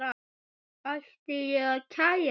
Ætti ég að kæra?